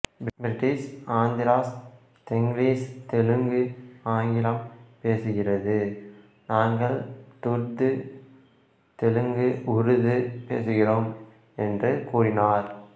British Andhras Tenglish தெலுங்குஆங்கிலம் பேசுகிறது நாங்கள் துர்டு தெலுங்குஉருது பேசுகிறோம் என்று கூறினார்